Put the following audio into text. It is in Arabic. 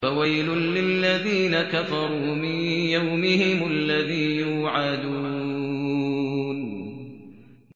فَوَيْلٌ لِّلَّذِينَ كَفَرُوا مِن يَوْمِهِمُ الَّذِي يُوعَدُونَ